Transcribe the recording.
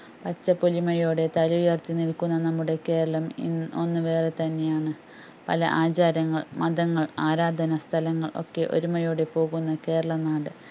പച്ചപ്പൊലിമയോടെ തലയുയർത്തി നിൽക്കുന്ന നമ്മുടെ കേരളം ഇന്ന് ഒന്ന് വേറെ തന്നെയാണ് പല ആചാരങ്ങൾ മതങ്ങൾ ആരാധന സ്ഥലങ്ങൾ ഒക്കെ ഒരുമയോടെ പോകുന്ന കേരള നാട്